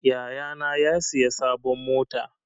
Yaya na ya siya sabon mota.